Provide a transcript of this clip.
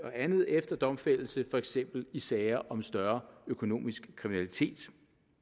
og andet efter domfældelse for eksempel i sager om større økonomisk kriminalitet